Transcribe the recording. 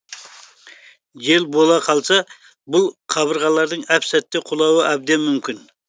жел бола қалса бұл қабырғалардың әп сәтте құлауы әбден мүмкін